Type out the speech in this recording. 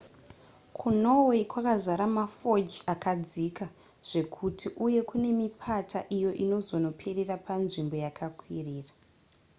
kunorway kwakazara mafjordsakadzika zvekuti uye kune mipata iyo inozonoperera panzvimbo yakakwirira